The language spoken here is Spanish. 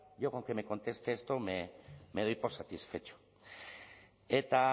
yo con que me conteste esto me doy por satisfecho eta